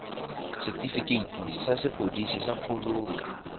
setefikeiti sa sepodisi sa kgololo